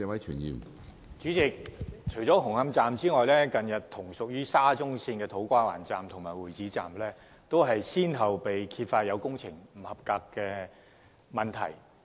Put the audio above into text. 主席，除了紅磡站外，近日，同屬於沙中線的土瓜灣站及會展站，均先後揭發有工程不合格的問題。